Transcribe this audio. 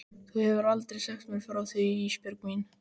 Þú hefur aldrei sagt mér frá því Ísbjörg mín.